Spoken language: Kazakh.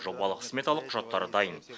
жобалық сметалық құжаттары дайын